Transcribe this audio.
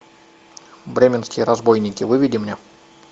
бременские разбойники выведи мне